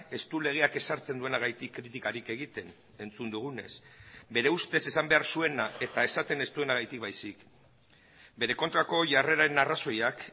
ez du legeak ezartzen duenagatik kritikarik egiten entzun dugunez bere ustez esan behar zuena eta esaten ez duenagatik baizik bere kontrako jarreraren arrazoiak